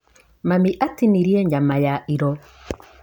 Mami atinirie nyama ya iro.